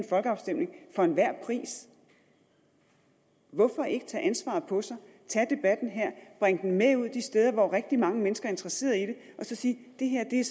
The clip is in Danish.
folkeafstemning for enhver pris hvorfor ikke tage ansvaret på sig tage debatten her bringe den med ud de steder hvor rigtig mange mennesker er interesseret i det og så sige det her er